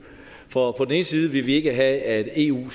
for på den ene side vil vi ikke have at eu